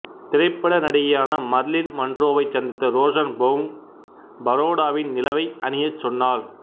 திரைப்பட நடிகையான மர்லின் மன்றோவைச் சந்தித்த ரோஸன்பௌம் பரோடாவின் நிலவை அணியச் சொன்னார்